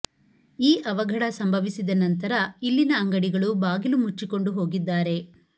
ಈ ಅವಘಢ ಸಂಭವಿಸಿದ ನಂತರ ಇಲ್ಲಿನ ಅಂಗಡಿಗಳು ಬಾಗಿಲು ಮುಚ್ಛಿಕೊಂಡು ಹೋಗಿದ್ದಾರೆ